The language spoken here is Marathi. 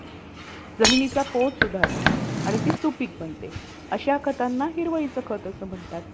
आणि मग त्या stress मुळेच आपल्याला अह लोकांशी बोलावंसं वाटत किंवा open up व्हावंसं वाटत तर ह्या गोष्टींमध्ये पण telecommunication